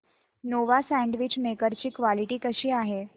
Nova sandwich maker ची quality कशी आहे